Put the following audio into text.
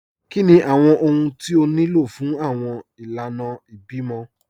Kíni awọn ọhun tí ó ní lọ fun awọn ilànà ìbímọ?